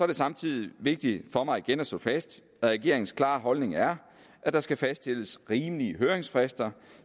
det samtidig vigtigt for mig igen at slå fast at regeringens klare holdning er at der skal fastsættes rimelig høringsfrister